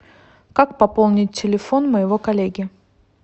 как пополнить телефон моего коллеги